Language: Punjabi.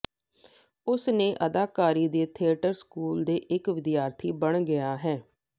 ਉਸ ਨੇ ਅਦਾਕਾਰੀ ਦੇ ਥੀਏਟਰ ਸਕੂਲ ਦੇ ਇੱਕ ਵਿਦਿਆਰਥੀ ਬਣ ਗਿਆ